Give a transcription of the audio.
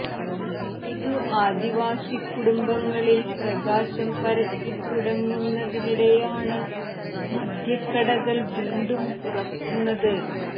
ഇതു ആദിവാസി കുടുംബങ്ങളിൽ പ്രകാശം പരത്തിത്തുടങ്ങുന്നതിനിടെയാണ് മദ്യക്കടകൾ വീണ്ടും തുറക്കുന്നത്